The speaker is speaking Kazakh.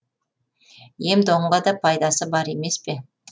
ем домға да пайдасы бар емеспе